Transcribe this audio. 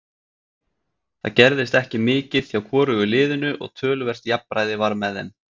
Það gerðist ekki mikið hjá hvorugu liðinu og töluvert jafnræði var með þeim.